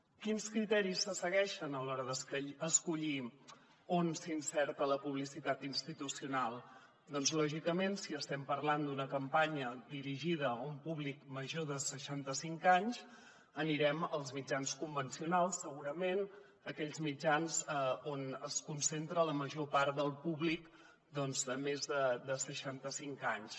quins criteris se segueixen a l’hora d’escollir on s’insereix la publicitat institucional doncs lògicament si estem parlant d’una campanya dirigida a un públic major de seixanta cinc anys anirem als mitjans convencionals segurament aquells mitjans on es concentra la major part del públic de més de seixanta cinc anys